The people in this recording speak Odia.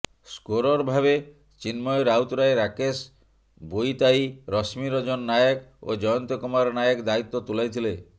ସ୍କୋରର ଭାବେ ଚିନ୍ମୟ ରାଉତରାୟ ରାକେଶ ବୋଇତାଇ ରଶ୍ମିରଞ୍ଜନ ନାୟକ ଓ ଜୟନ୍ତ କୁମାର ନାୟକ ଦାଇତ୍ୱ ତୁଲାଇଥିଲେ